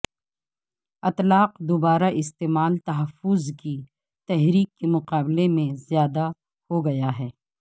اطلاق دوبارہ استعمال تحفظ کی تحریک کے مقابلے میں زیادہ ہو گیا ہے